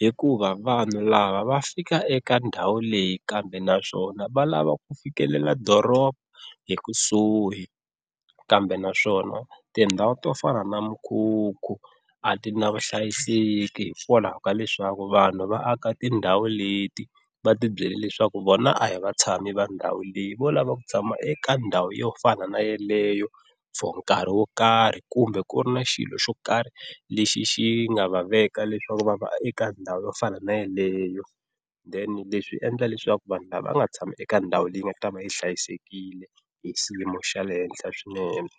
hikuva vanhu lava va fika eka ndhawu leyi kambe naswona va lava ku fikelela doroba hi kusuhi. Kambe naswona tindhawu to fana na mikhukhu a ti na vuhlayiseki hikwalaho ka leswaku vanhu va aka tindhawu leti va tibyela leswaku vona a hi vatshami va ndhawu leyi vo lava ku tshama eka ndhawu yo fana na yeleyo for nkarhi wo karhi, kumbe ku ri na xilo xo karhi lexi xi nga va veka leswaku va va eka ndhawu yo fana na yaleyo then leswi endla leswaku vanhu lava nga tshama eka ndhawu leyi nga ta va yi hlayisekile hi xiyimo xa le henhla swinene.